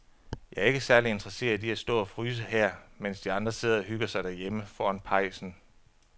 Jeg er ikke særlig interesseret i at stå og fryse her, mens de andre sidder og hygger sig derhjemme foran pejsen.